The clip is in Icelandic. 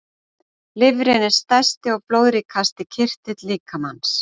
Lifrin er stærsti og blóðríkasti kirtill líkamans.